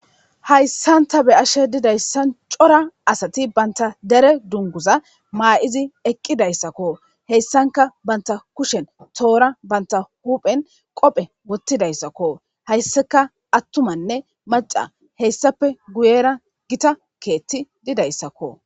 Hayssanta be ashe didayssan cora asati banta dere dunguza maa'izi eqqidayssakko heyssanka banta kushen toora banta huphen qophe wottidayssakko hayssaka attumanne maca heyssappe guyera gita keetti didayssakko.